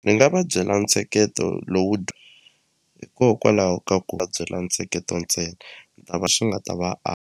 Ni nga va byela ntsheketo lowu hikokwalaho ka ku va byela ntsheketo ntsena lava xi nga ta va .